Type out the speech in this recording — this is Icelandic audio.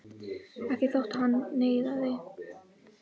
Ekki þótt hann nauðaði.